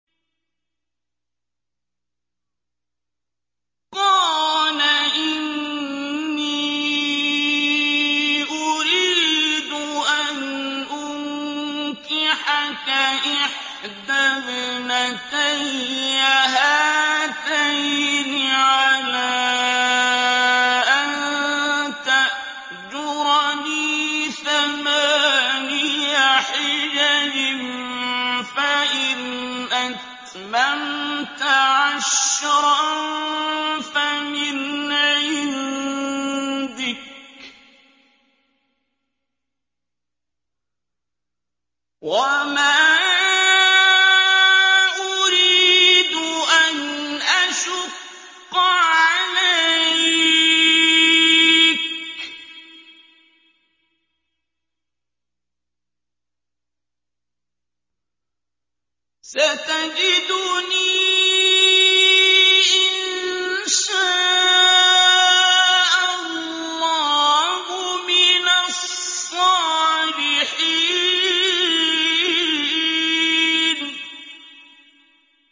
قَالَ إِنِّي أُرِيدُ أَنْ أُنكِحَكَ إِحْدَى ابْنَتَيَّ هَاتَيْنِ عَلَىٰ أَن تَأْجُرَنِي ثَمَانِيَ حِجَجٍ ۖ فَإِنْ أَتْمَمْتَ عَشْرًا فَمِنْ عِندِكَ ۖ وَمَا أُرِيدُ أَنْ أَشُقَّ عَلَيْكَ ۚ سَتَجِدُنِي إِن شَاءَ اللَّهُ مِنَ الصَّالِحِينَ